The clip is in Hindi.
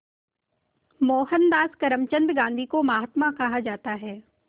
मोहनदास करमचंद गांधी को महात्मा कहा जाता है